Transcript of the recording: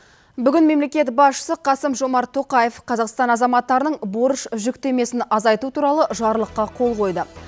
бүгін мемлекет басшысы қасым жомарт тоқаев қазақстан азаматтарының борыш жүктемесін азайту туралы жарлыққа қол қойды